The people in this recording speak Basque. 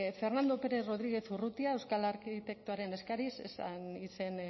fernando pérez rodríguez urrutia euskal arkitektoaren eskariz ez zen izen